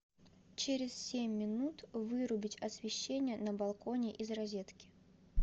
через семь минут вырубить освещение на балконе из розетки